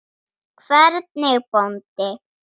Hvernig bóndi?